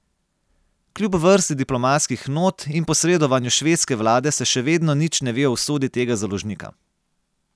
Kljub vrsti diplomatskih not in posredovanju švedske vlade se še vedno nič ne ve o usodi tega založnika.